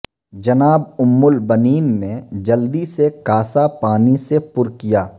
جناب ام البنین نے جلدی سے کاسہ پانی سے پر کیا